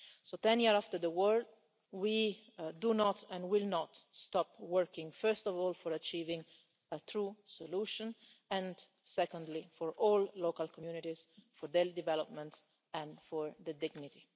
So, ten years after the war, we do not and will not stop working first of all for achieving a true solution, and secondly for all local communities, for their development and for their dignity.